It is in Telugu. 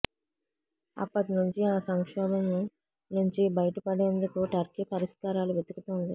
అప్పటి నుంచి ఆ సంక్షోభం నుంచి బయటపడేందుకు టర్కీ పరిష్కారాలు వెతుకుతోంది